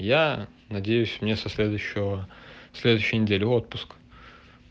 я надеюсь мне со следующего следующей неделе отпуск